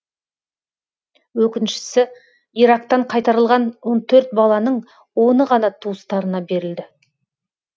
өкініштісі ирактан қайтарылған он төрт баланың оны ғана туыстарына берілді